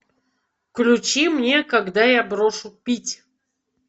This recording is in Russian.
включи мне когда я брошу пить